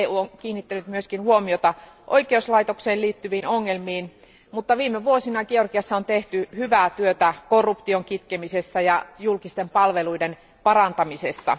EU on kiinnittänyt myös huomiota oikeuslaitokseen liittyviin ongelmiin, mutta viime vuosina Georgiassa on tehty hyvää työtä korruption kitkemisessä ja julkisten palveluiden parantamisessa.